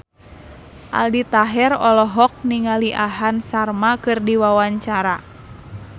Aldi Taher olohok ningali Aham Sharma keur diwawancara